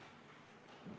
Istungi lõpp kell 17.40.